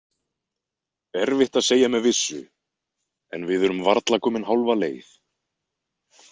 Erfitt að segja með vissu, en við erum varla komin hálfa leið.